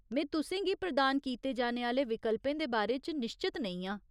में तुसें गी प्रदान कीते जाने आह्‌ले विकल्पें दे बारे च निश्चत नेईं आं।